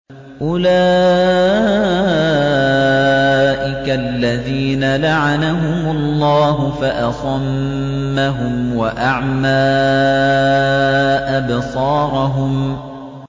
أُولَٰئِكَ الَّذِينَ لَعَنَهُمُ اللَّهُ فَأَصَمَّهُمْ وَأَعْمَىٰ أَبْصَارَهُمْ